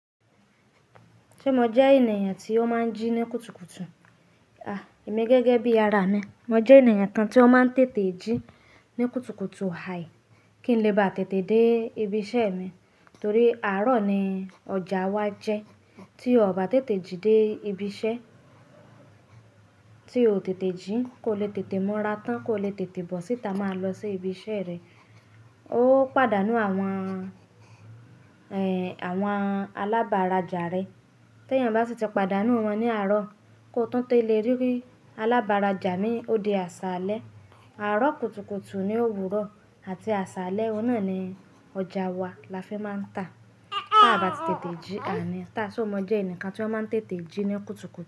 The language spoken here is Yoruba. Ṣé mo jẹ́ ènìyàn tí ó máa ń jí ní kùtùkùtù? Àh! Èmi gẹ́gẹ́ bí ara mi. Mo jẹ́ ènìyàn kan tí ó máa ń tètè jí ní kùtùkùtù. Ah! Kí n lè bá tètè dé ibi iṣẹ́ mi. Torí àárọ̀ ni ọjà wa jẹ́. Tí o ò bá tètè jí dé ibi iṣẹ́, tí o ò tètè jí, kò le tètè múra tán, kò le tètè bọ́ síta máa lọ sí ibi iṣẹ́ rẹ. Ó pàdánù àwọn, ẹ́, àwọn alábàrájà rẹ. Tí ènìyàn bá sì ti pàdánù wọn ní àárọ̀, kó tún tó le rí pé alábàrájà mi ó di àṣálẹ́. Àárọ̀ kùtùkùtù ni òwúrọ̀ àti àṣálẹ́, òun náà ni ọjà wa la fi máa ń tà. Tí a bá ti tètè jí, àní. Tá, ṣé mo jẹ́ ẹnìkan tí ó máa ń tètè jí ní kùtùkùtù?